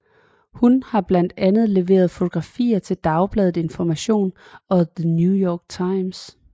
Hun har blandt andre leveret fotografier til Dagbladet Information og The New York Times